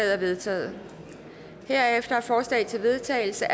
er vedtaget herefter er forslag til vedtagelse